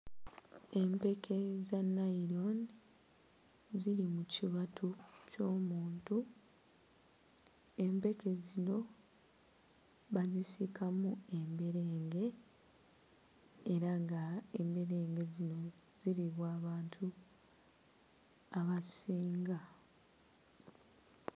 Empeke za nnayironi ziri mu kibatu ky'omuntu, empeke zino bazisiikamu emberenge era nga emberege zino ziriibwa abantu abasinga.